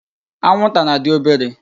Anwụnta na-adị obere.